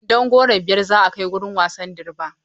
Kwandon Goro biyar za a kai wurin wasan Durbar.